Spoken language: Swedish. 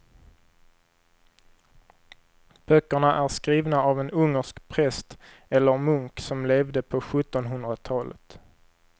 Böckerna är skrivna av en ungersk präst eller munk som levde på sjuttonhundratalet.